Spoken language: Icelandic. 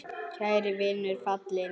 Kær vinur er fallinn frá.